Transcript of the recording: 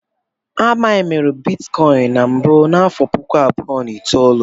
A mainiri Bitikọin na mbụ n'afọ puku abụọ na itoolu.